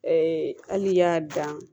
hali n'i y'a dan